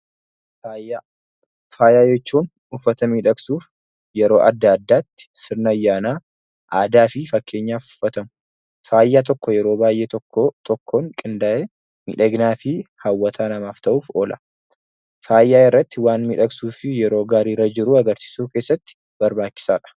Faaya. Faaya jechuun uffata miidhagsuuf yeroo adda addaatti sirna ayyaanaa, aadaa fi fakkeenyaf uffatamu. Faaya tokko yeroo baay'ee tokko tokkoon qindaa'ee miidhaginaa fi hawwataa namaaf ta'uuf oola. Faaya irratti waan miidhagsuu fi yeroo gaarii irra jirru agarsiisuu keessatti barbaachisaadha.